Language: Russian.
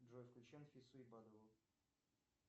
джой включи анфису ибадову